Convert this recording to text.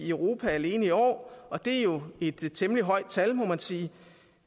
europa alene i år og det er jo et temmelig højt tal må man sige